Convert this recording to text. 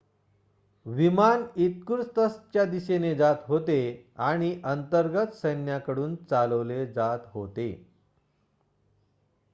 विमान इर्कुत्स्कच्या दिशेने जात होते आणि अंतर्गत सैन्याकडून चालवले जात होते